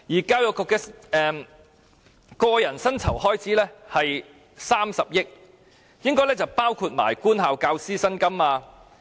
教育局的個人薪酬開支約為30億元，應該包括官校教師薪金。